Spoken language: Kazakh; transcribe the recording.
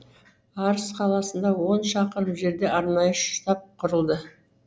арыс қаласынан он шақырым жерде арнайы штаб құрылды